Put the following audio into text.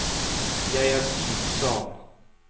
Jeg er syk, sa han.